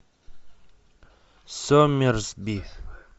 соммерсби